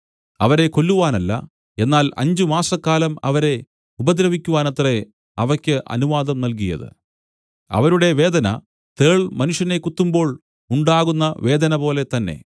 അവരെ കൊല്ലുവാനല്ല എന്നാൽ അഞ്ചുമാസക്കാലം അവരെ ഉപദ്രവിക്കുവാനത്രേ അവയ്ക്ക് അനുവാദം നൽകിയത് അവരുടെ വേദന തേൾ മനുഷ്യനെ കുത്തുമ്പോൾ ഉണ്ടാകുന്ന വേദനപോലെ തന്നെ